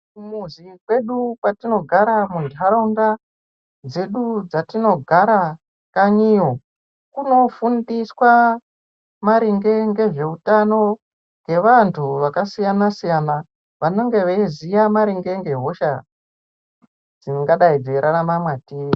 kumuzi kwedu kwatinogara muntataunda dzedu dzatinogara kanyiyo. Kunofundiswa maringe ngezveutano ngevantu vakasiyana-siyana, vanonga vaiziya maringe ngehosha dzingadai dzeirarama matiri.